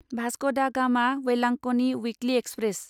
Vasco da Gama Velankanni weekly express